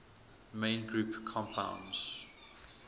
main group compounds